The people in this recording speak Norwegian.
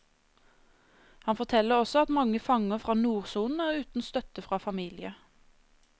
Han forteller også at mange fanger fra nordsonen er uten støtte fra familie.